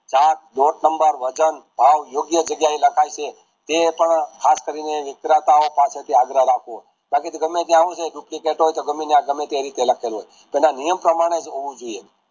જાત નંબર વજન ભાવ ઉગ્યા જગ્યા એ લખાય છે અથવા ખાસ કરીને વિક્રતાઓ પાસસે થી આગ્રહ રાખો બાકી ગમે ત્યાં હું છે કે duplicate હોય તો ગમે ત્યાં ગમે એ રીતે લાખેકયુ હોય તેના નિયમ પ્રમાણે હપવું જોયીયે